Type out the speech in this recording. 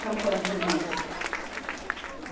São quantos irmãos?